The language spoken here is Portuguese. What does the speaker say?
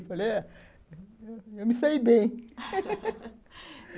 Eu falei, ó, eu me saí bem